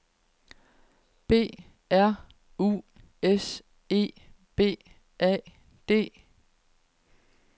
B R U S E B A D